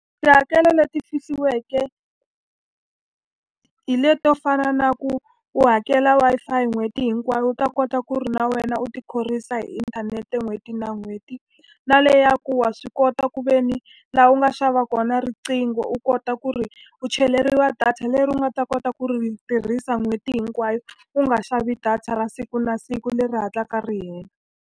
Tihakelo leti fihliweke hi leti to fana na ku u hakela Wi-Fi n'hweti hinkwayo u ta kota ku ri na wena u ti khorwisa hi inthanete n'hweti na n'hweti. Na le ya ku wa swi kota kuveni laha u nga xava kona riqingho u kota ku ri u cheleriwa data leri u nga ta kota ku ri tirhisa n'hweti hinkwayo, u nga xavi data ra siku na siku leri hatlaka ri hela.